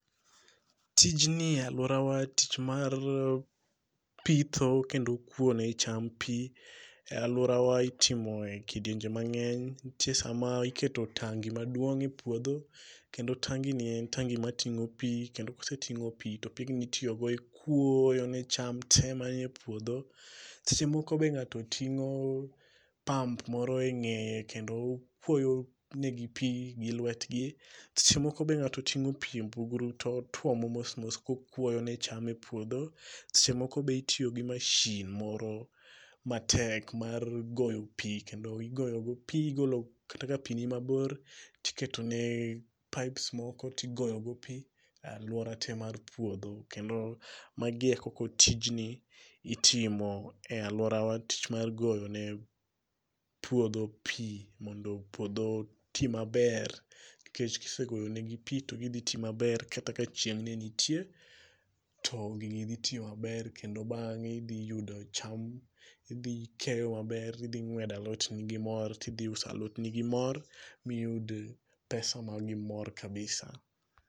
Tijni e alwora wa tich mar pitho kendo kwo ne cham pii, e alwora wa itimo e kidienje mang'eny. Nitie sama iketo tangi maduong' e puodho, kendo tangi ni en tangi mating'o pii kendo koseting'o pii to pigni itiyo go e kuoyo ne cham te manie e puodho. Seche moko be ng'ato ting'o pump moro e ng'eye kendo okuoyo negi pii gilwetgi. Seche moko be ng'ato ting'o pii e mbugru to otuomo mos mos kokuoyo ne cham e puodho. Seche moko be itiyo gi mashin moro matek mar goyo pii kendo igoyo go pii igolo kata ka ni mabor, tiketone pipes moko tigoyo go pii e alwora te mar puodho kendo, magi eko ko tijni, itimo e alwora wa tich mar goyone puodho pii mondo puodho oti maber. Nikech kisegoyo ne gi pii to gidhi tii maber kata ka chieng' nenitie, to gigi dhitiyo maber kendo bang'e idhiyudo cham, idhikeyo maber, idhing'wedo alot ni gimor, tidhiuso alot ni gimor miyud pesa ma gimor kabisa